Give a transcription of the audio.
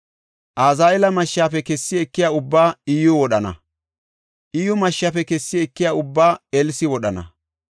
Azaheela mashshafe kessi ekiya ubbaa Iyyuy wodhana; Iyyu mashshafe kessi ekiya ubbaa Elsi wodhana.